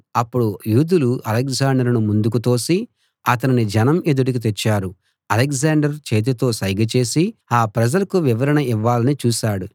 అప్పుడు యూదులు అలెగ్జాండరును ముందుకు తోసి అతనిని జనం ఎదుటికి తెచ్చారు అలెగ్జాండర్ చేతితో సైగ చేసి ఆ ప్రజలకు వివరణ ఇవ్వాలని చూశాడు